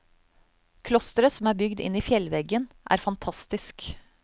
Klosteret som er bygd inn i fjellveggen er fantastisk.